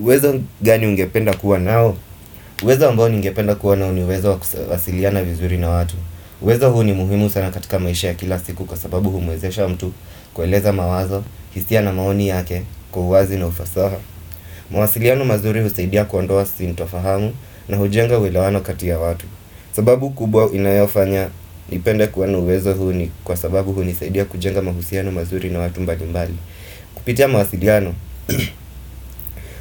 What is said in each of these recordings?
Uwezo gani ungependa kuwa nao? Uwezo ambao ningependa kuwa nao ni uwezo wa kuwasiliana vizuri na watu. Uwezo huu ni muhimu sana katika maisha ya kila siku kwa sababu humwezesha mtu kueleza mawazo, hisia na maoni yake, kwa uwazi na ufasaha. Mawasiliano mazuri husaidia kuondoa sintofahamu na hujenga uweleano katia ya watu. Sababu kubwa inayofanya nipende kuwa na uwezo huu ni kwa sababu hunisaidia kujenga mahusiano mazuri na watu mbalimbali. Kupitia mawasiliano,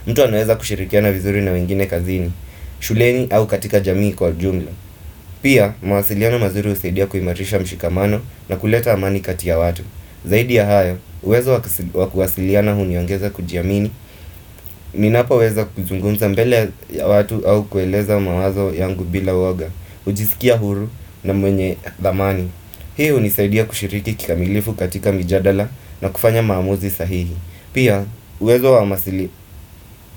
mtu anaweza kushirikiana vizuri na wengine kazini, shuleni au katika jamii kwa jumla Pia mawasiliano mazuri husaidia kuimarisha mshikamano na kuleta amani katia watu Zaidii ya hayo, uwezo wakuwasiliana huniongeza kujiamini, ninapoweza kuzungumza mbele ya watu au kueleza mawazo yangu bila uoga hujiskia huru na mwenye dhamani Hii hunisaidia kushiriki kikamilifu katika mijadala na kufanya maamuzi sahihi Pia, uwezo wa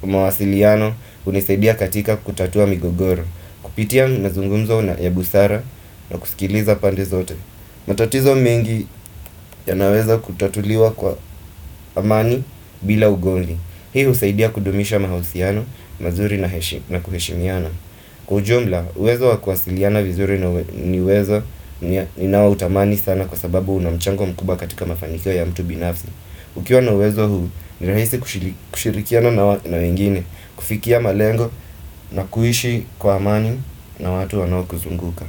mawasiliano hunisaidia katika kutatua migogoro Kupitia mazungumzo na ya busara na kusikiliza pande zote matatizo mingi yanaweza kutatuliwa kwa amani bila ugonli Hii husaidia kudumisha mahusiano, mazuri na kuheshimiana Kwa ujumla, uwezo wa kuwasiliana vizuri ni uwezo ninaoutamani sana Kwa sababu unamchango mkubwa katika mafanikyo ya mtu binafsi Ukiwa na uwezo huu, ni rahisi kushirikiana na wengine, kufikia malengo na kuishi kwa amani na watu wanaokuzunguka.